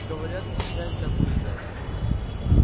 говорят дрянь всякую едят